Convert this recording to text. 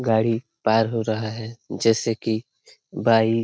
गाड़ी पार हो रहा है जैसे की बाइक --